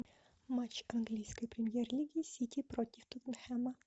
матч английской премьер лиги сити против тоттенхэма